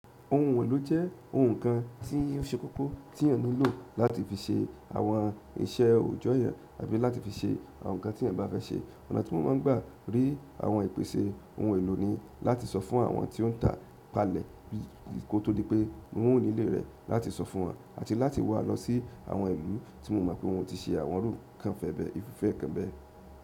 Ohun èlò jé ohun kan tí ó se kókó ti èèyàn ní lò láti fi se àwọn iṣẹ́ òjó èyàn àbí láti fi se àwọn nkan tí èyàn bá fé se. Ọ̀nà tí mo máa n gbà rí àwọn ìpèsè ohun èlò ni láti so fún àwọn tí ó n tà kalẹ̀ kó tó di pé mo ó re ilé rè làti so fún won àti láti wa lo sí àwọn ìlú tí mo mò pé wón ti se àwọn irú nkan fé bè.